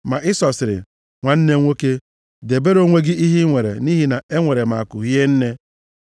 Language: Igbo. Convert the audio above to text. Ma Ịsọ sịrị, “Nwanne m nwoke, debere onwe gị ihe i nwere, nʼihi na enwere m akụ hie nne.”